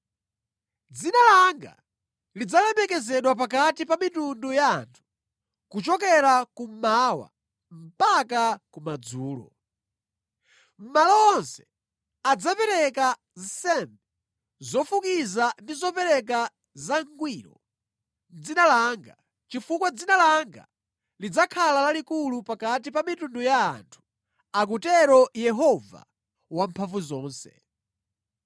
Dzina langa lidzalemekezedwa pakati pa mitundu ya anthu, kuchokera kummawa mpaka kumadzulo. Mʼmalo monse adzapereka nsembe zofukiza ndi zopereka zangwiro mʼdzina langa, chifukwa dzina langa lidzakhala lalikulu pakati pa mitundu ya anthu,” akutero Yehova Wamphamvuzonse.